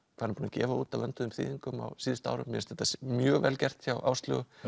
gefa út af vönduðum þýðingum á síðustu árum mér finnst þetta mjög vel gert hjá Áslaugu